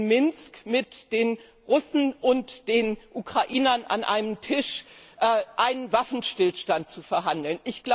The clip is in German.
Minsk, mit den Russen und den Ukrainern an einem Tisch über einen Waffenstillstand zu verhandeln.